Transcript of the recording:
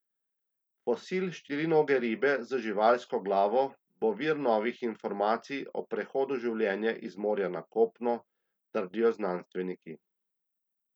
Fosil štirinoge ribe z živalsko glavo bo vir novih informacij o prehodu življenja iz morja na kopno, trdijo znanstveniki.